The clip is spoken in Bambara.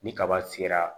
Ni kaba sera